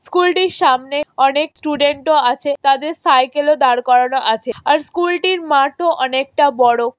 School টির সামনে অনেক স্টুডেন্ট ও আছে। তাদের সাইকেল ও দাঁড় করানো আছে। স্কুল টির মাঠও অনেকটা বড়।